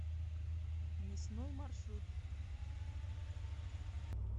мясной маршрут